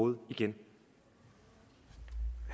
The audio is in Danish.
det